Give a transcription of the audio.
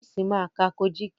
Chris má ká Kojiki.